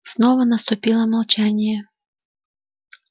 снова наступило молчание